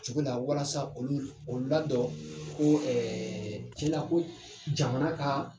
O Cogo la walasa olu o la dɔ ko cɛn na ko jamana ka.